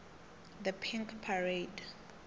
the pink parade